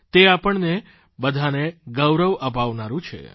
તે આપણને બધાને ગૌરવ અપાવનારૂં છે